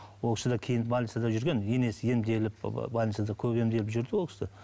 ол кісі де кейін больницада жүрген енесі емделіп больницада көп емделіп жүрді ол кісі